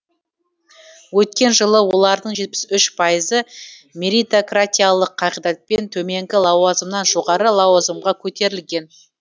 өткен жылы олардың жетпіс үш пайызы меритократиялық қағидатпен төменгі лауазымнан жоғарғы лауазымға көтерілген